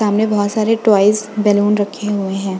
सामने बहुत सारे टॉइस बैलून रखे हुए हैं।